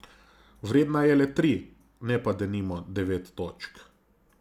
Vredna je le tri, ne pa denimo devet točk.